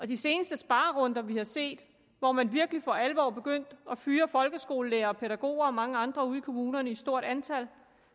de seneste sparerunder vi har set hvor man virkelig for alvor begyndte at fyre folkeskolelærere og pædagoger og mange andre ude i kommunerne i stort antal